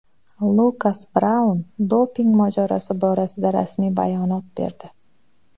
Lukas Braun doping mojarosi borasida rasmiy bayonot berdi.